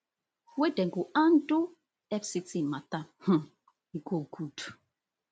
wey dem go handle fct mata um e go good